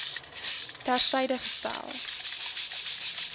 ter syde gestel